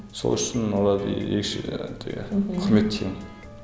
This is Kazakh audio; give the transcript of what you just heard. сол үшін оларды ерекше өте құрметтеймін